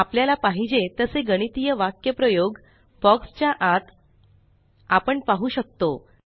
आपल्याला पाहिजे तसे गणितीय वाक्य प्रयोग बॉक्स च्या आत आपण पाहु शकतो